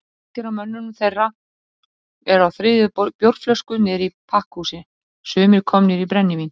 Margir af mönnum þeirra eru á þriðju bjórflösku niðri í pakkhúsi,- sumir komnir í brennivín.